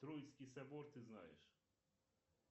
троицкий собор ты знаешь